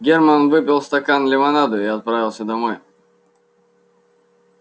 германн выпил стакан лимонаду и отправился домой